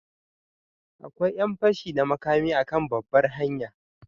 Akwai yan fashi da makami a kan babbar hanya.